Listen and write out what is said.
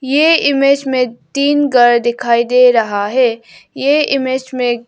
ये इमेज में तीन घर दिखाई दे रहा है ये इमेज में--